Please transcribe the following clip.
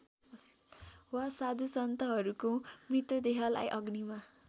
वा साधुसन्तहरूको मृतदेहलाई अग्निमा